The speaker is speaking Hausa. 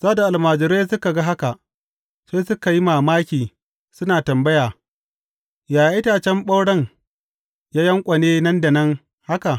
Sa’ad da almajiran suka ga haka, sai suka yi mamaki suna tambaya, Yaya itacen ɓauren ya yanƙwane nan da nan haka?